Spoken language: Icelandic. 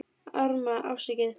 Arma: Afsakið